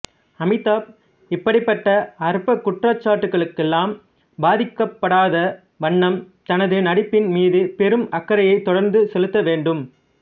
அமிதாப் இப்படிப்பட்ட அற்பக் குற்றச்சாட்டுக்கெல்லாம் பாதிக்கப்படாத வண்ணம் தனது நடிப்பின் மீது பெரும் அக்கறையைத் தொடர்ந்து செலுத்தவேண்டும்